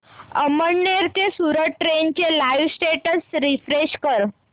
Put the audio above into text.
अमळनेर ते सूरत ट्रेन चे live status refresh कर